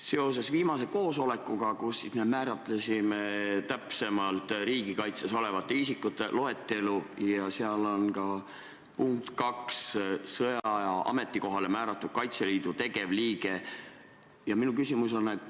Seoses viimase koosolekuga, kus me määratlesime täpsemalt riigikaitses osalevate isikute loetelu – seal on punkt 2, milles on esile toodud "sõjaaja ametikohale määratud Kaitseliidu tegevliige" –, on mul järgmine küsimus.